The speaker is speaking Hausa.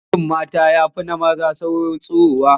Gashin mata ya fi na maza saurin tsirowa